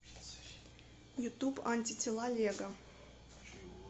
ютуб антитела лего